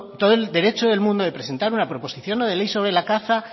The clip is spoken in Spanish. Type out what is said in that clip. todo el derecho del mundo de presentar una proposición no de ley sobre la caza